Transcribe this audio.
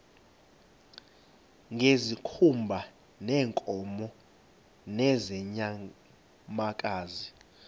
ngezikhumba zeenkomo nezeenyamakazi